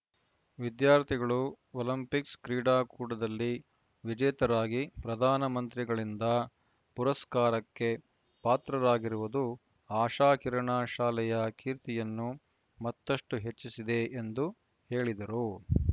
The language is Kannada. ವಿದ್ಯಾರ್ಥಿಗಳು ಒಲಂಪಿಕ್ಸ‌ ಕ್ರೀಡಾ ಕೂಟದಲ್ಲಿ ವಿಜೇತರಾಗಿ ಪ್ರಧಾನಮಂತ್ರಿಗಳಿಂದ ಪುರಸ್ಕಾರಕ್ಕೆ ಪಾತ್ರರಾಗಿರುವುದು ಆಶಾಕಿರಣ ಶಾಲೆಯ ಕೀರ್ತಿಯನ್ನು ಮತ್ತಷ್ಟುಹೆಚ್ಚಿಸಿದೆ ಎಂದು ಹೇಳಿದರು